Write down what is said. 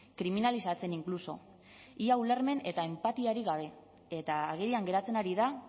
kriminalizatzen inkluso ia ulermen eta enpatiarik gabe eta agerian geratzen ari da